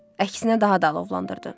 Əksinə daha da alovlandırdı.